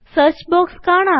search box കാണാം